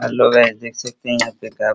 hello guys देख सकते हैं यहां पे काफी --